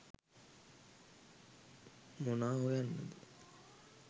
මොනා හොයන්නද